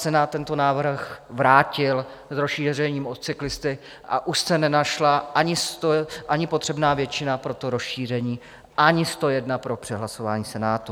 Senát tento návrh vrátil s rozšířením o cyklisty a už se nenašla ani potřebná většina pro to rozšíření, ani 101 pro přehlasování Senátu.